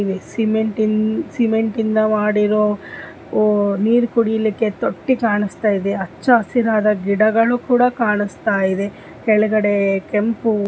ಇಲ್ಲಿ ಸಿಮೆಂಟ್ ಇನ್ ಸಿಮೆಂಟ್ ಇಂದ ಮಾಡಿರೋ ನೀರು ಕುಡಿಲಿಕ್ಕೆ ತೊಟ್ಟಿ ಕಾಣಿಸ್ತಾಯಿದೆ ಹಚ್ಚ ಹಸಿರಾದ ಗಿಡಗಳು ಕೂಡ ಕಾಣಿಸ್ತಾಯಿದೆ ಕೆಳಗಡೆ ಕೆಂಪು--